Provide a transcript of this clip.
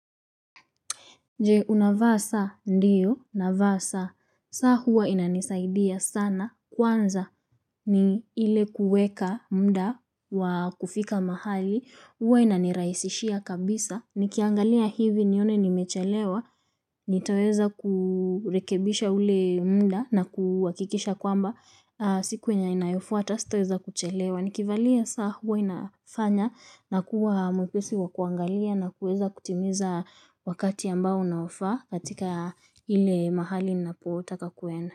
Je, unavaa saa, ndiyo, navaa saa, saa huwa inanisaidia sana, kwanza ni ile kuweka muda wa kufika mahali, huwa inanirahisishia kabisa, nikiangalia hivi nione nimechelewa, nitaweza kurekebisha ule muda na kuhakikisha kwamba, siku yenye inayofuata, sitaweza kuchelewa. Nikivalia saa huwa inafanya nakuwa mwepesi wa kuangalia na kuweza kutimiza wakati ambao naofaa katika ile mahali napotaka kuenda.